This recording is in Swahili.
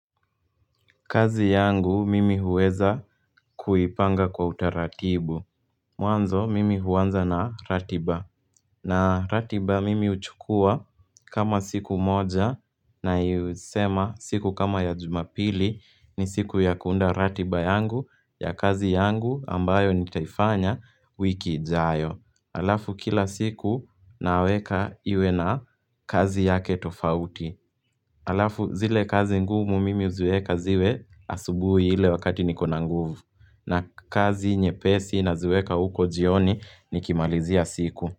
Kazi yangu mimi huweza kuipanga kwa utaratibu Mwanzo mimi huanza na ratiba. Na ratiba mimi uchukua kama siku moja na yusema siku kama ya jumapili ni siku ya kuunda ratiba yangu ya kazi yangu ambayo nitaifanya wiki jayo Alafu kila siku naweka iwe na kazi yake tofauti Alafu zile kazi ngumu mimi huziweka ziwe asubuhi ile wakati niko na nguvu na kazi nyepesi na ziweka uko jioni nikimalizia siku.